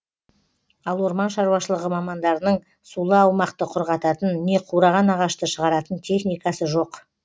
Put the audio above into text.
ал орман шаруашылығы мамандарының сулы аумақты құрғататын не қураған ағашты шығаратын техникасы жоқ